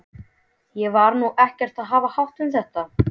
Ég var nú ekkert að hafa hátt um þetta.